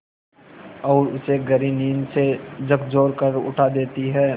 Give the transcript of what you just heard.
और उसे गहरी नींद से झकझोर कर उठा देती हैं